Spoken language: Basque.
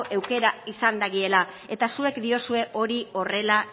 aukera izan dagiela eta zuek diozue hori horrela